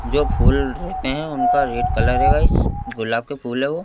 जो फूल रहते हैं उनका रेड कलर है गाइस गुलाब के फूल है वो--